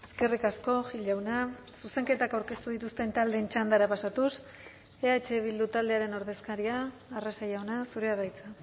eskerrik asko gil jauna zuzenketak aurkeztu dituzten taldeen txandara pasatuz eh bildu taldearen ordezkaria arrese jauna zurea da hitza